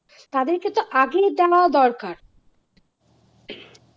তাদরেকে তো আগেই দেওয়া দরকার